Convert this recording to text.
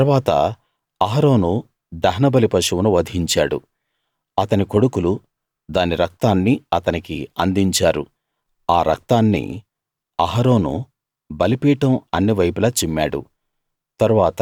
ఆ తరువాత అహరోను దహనబలి పశువును వధించాడు అతని కొడుకులు దాని రక్తాన్ని అతనికి అందించారు ఆ రక్తాన్ని అహరోను బలిపీఠం అన్ని వైపులా చిమ్మాడు